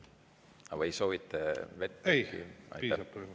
Arvo Aller, palun!